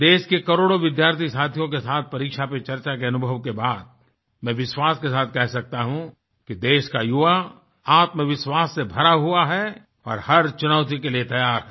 देश के करोड़ो विद्यार्थी साथियों के साथ परीक्षा पे चर्चा के अनुभव के बाद मैं विश्वास के साथ कह सकता हूँ कि देश का युवा आत्मविश्वास से भरा हुआ है और हर चुनौती के लिए तैयार है